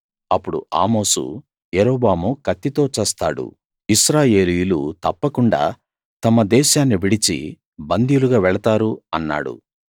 అప్పుడు ఆమోసు యరొబాము కత్తితో చస్తాడు ఇశ్రాయేలీయులు తప్పకుండా తమ దేశాన్నివిడిచి బందీలుగా వెళతారు అన్నాడు